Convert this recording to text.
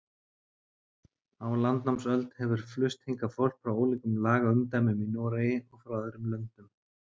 Á landnámsöld hefur flust hingað fólk frá ólíkum lagaumdæmum í Noregi og frá öðrum löndum.